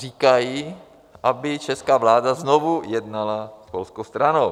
Říkají, aby česká vláda znovu jednala s polskou stranou.